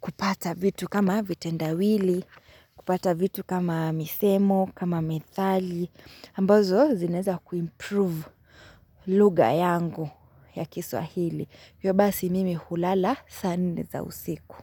kupata vitu kama vitendawili, kupata vitu kama misemo, kama methali. Ambazo zinaeza kuimprove lugha yangu ya kiswahili. Hivyo basi mimi hulala sa nne za usiku.